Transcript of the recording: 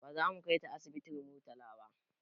Baza mu kaita asibitin murtala ba